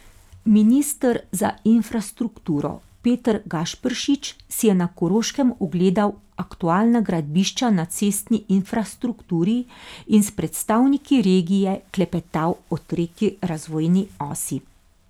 Minister za infrastrukturo Peter Gašperšič si je na Koroškem ogledal aktualna gradbišča na cestni infrastrukturi in s predstavniki regije klepetal o tretji razvojni osi.